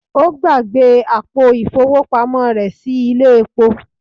Ó gbàgbé àpò ìfowópamọ́ rẹ̀ sí ilé epo